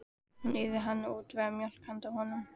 Nú yrði hann að útvega mjólk handa honum.